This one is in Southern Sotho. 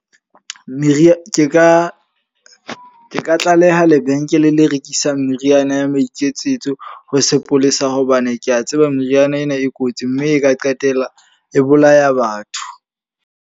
Meriana, ke ka tlaleha lebenkele le rekisang meriana ya maiketsetso ho sepolesa. Hobane ke a tseba meriana ena e kotsi mme e ka qetella e bolaya batho.